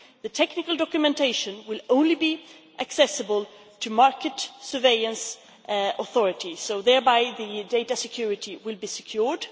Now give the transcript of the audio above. The technical documentation will only be accessible to market surveillance authorities, so thereby the data security will be secured.